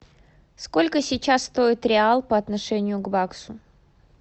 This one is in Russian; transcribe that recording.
сколько сейчас стоит реал по отношению к баксу